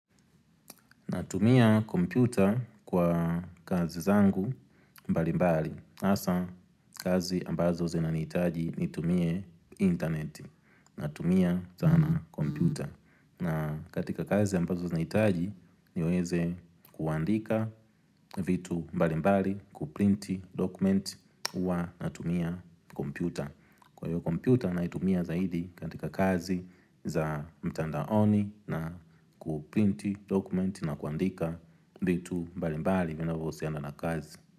Natumia kompyuta kwa kazi zangu mbalimbali. Hasa kazi ambazo zinanihitaji nitumie internet. Natumia sana kompyuta. Na katika kazi ambazo zinahitaji niweze kuandika vitu mbalimbali, kuprinti dokument huwa natumia kompyuta. Kwa hiyo kompyuta naitumia zaidi katika kazi za mtandaoni na kuprinti dokumenti na kuandika vitu mbalimbali vinavyohusiana na kazi.